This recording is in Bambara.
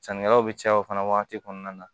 Sannikɛlaw bɛ caya o fana wagati kɔnɔna na